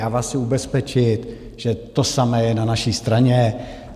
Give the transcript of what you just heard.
Já vás chci ubezpečit, že to samé je na naší straně.